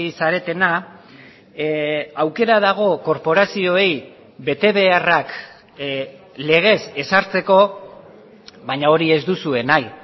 zaretena aukera dago korporazioei betebeharrak legez ezartzeko baina hori ez duzue nahi